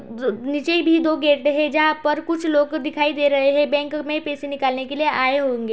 नीचे भी दो गेट है जहाँ पर कुछ लोग देखाई दे रहै है। बैंक में पैसे निकालने के लिए आये होंगे।